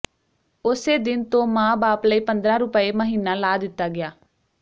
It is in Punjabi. ਉਸੇ ਦਿਨ ਤੋਂ ਮਾਂ ਬਾਪ ਲਈ ਪੰਦਰਾਂ ਰੁਪਏ ਮਹੀਨਾ ਲਾ ਦਿੱਤਾ ਗਿਆ